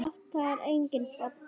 Lát þar enga falla.